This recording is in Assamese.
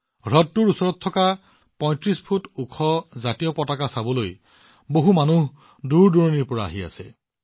হ্ৰদটোৰ ওচৰত ৩৫ ফুট ওখ ত্ৰিৰংগা চাবলৈ মানুহো দূৰদূৰৰ পৰা আহে